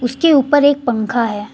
के ऊपर एक पंखा है।